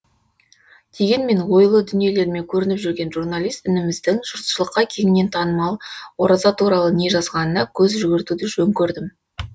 дегенмен ойлы дүниелерімен көрініп жүрген журналист ініміздің жұртшылыққа кеңінен танымал ораза туралы не жазғанына көз жүгіртуді жөн көрдім